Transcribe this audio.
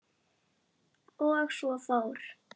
Og svo fór.